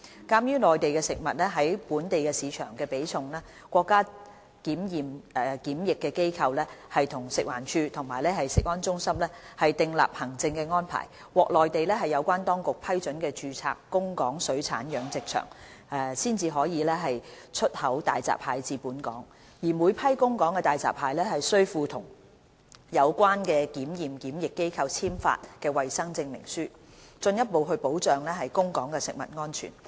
鑒於內地食物在本地市場的比重，國家檢驗檢疫機構與食物環境衞生署食物安全中心訂立行政安排，獲內地有關當局批准的註冊供港水產養殖場才可以出口大閘蟹至本港，每批供港大閘蟹須附同有關檢驗檢疫機構簽發的衞生證書，進一步保障供港食物安全。